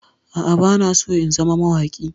A'a, bana so in zama mawaƙi.